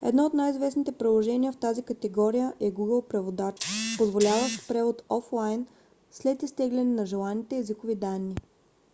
едно от най - известните приложения в тази категория е google преводач позволяващ превод офлайн след изтегляне на желаните езикови данни